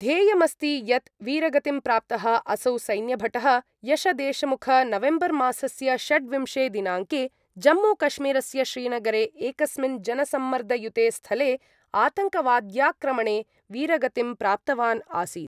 ध्येयमस्ति यत् वीरगतिं प्राप्तः असौ सैन्य॒भटः यशदेशमुख नवेम्बर्मासस्य षड्विंशे दिनाङ्के जम्मूकश्मीरस्य श्रीनगरे एकस्मिन् जनसम्मर्दयुते स्थले आतङ्कवाद्याक्रमणे वीरगतिं प्राप्तवान् आसीत्।